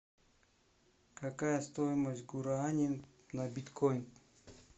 какая стоимость гуарани на биткоин